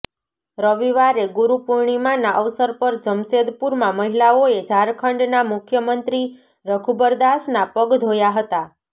રવિવારે ગુરુપૂર્ણિમાના અવસર પર જમશેદપુરમાં મહિલાઓએ ઝારખંડના મુખ્યમંત્રી રઘુબર દાસના પગ ઘોયા હતા